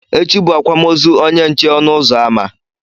Echi bụ akwamozu onye nche ọnụ ụzọ ámá